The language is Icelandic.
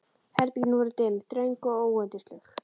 Herbergin voru dimm, þröng og óyndisleg.